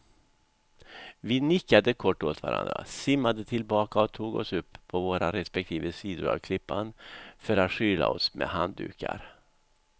Vi nickade kort åt varandra, simmade tillbaka och tog oss upp på våra respektive sidor av klippan för att skyla oss med handdukar.